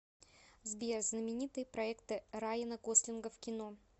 сбер знаменитые проекты райана гослинга в кино